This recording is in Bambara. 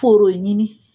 Foro ɲini